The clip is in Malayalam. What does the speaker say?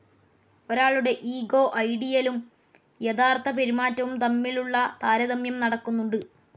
ഒരാളുടെ ഇഗോ ഐഡിയലും യഥാർത്ഥപെരുമാറ്റവും തമ്മിലുള്ള താരതമ്യം നടക്കുന്നുണ്ട്.